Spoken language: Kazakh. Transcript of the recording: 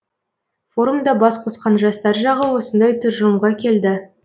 форумда бас қосқан жастар жағы осындай тұжырымға келді